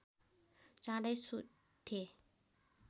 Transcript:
चाँडै सुत्थे